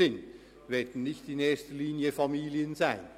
Es werden nicht in erster Linie Familien sein.